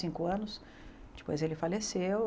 cinco anos depois ele faleceu.